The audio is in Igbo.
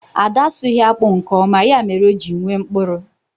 Ada asụghi akpu nke oma, ya mere o ji nwee mkpụrụ